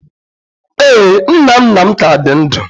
Ee, nna nna m ka dị ndụ